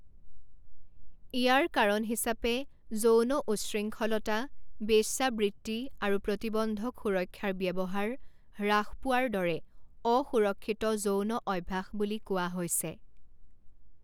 ইয়াৰ কাৰণ হিচাপে যৌন উচ্ছৃংখলতা, বেশ্যাবৃত্তি আৰু প্ৰতিবন্ধক সুৰক্ষাৰ ব্যৱহাৰ হ্ৰাস পোৱাৰ দৰে অসুৰক্ষিত যৌন অভ্যাস বুলি কোৱা হৈছে।